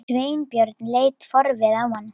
Sveinbjörn leit forviða á hana.